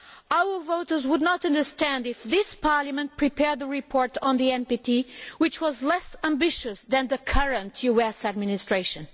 Our voters would not understand if this Parliament prepared a report on the NPT which was less ambitious than that of the current US Administration.